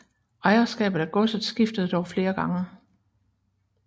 Ejerskabet af godset skiftede dog flere gange